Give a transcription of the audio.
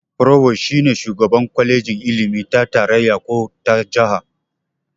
"Provost" shi ne shugaban kwalejin ilimi ta tarayya ko ta jaha.